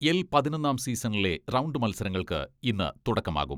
L പതിനൊന്നാം സീസണിലെ round മത്സരങ്ങൾക്ക് ഇന്ന് തുടക്കമാകും.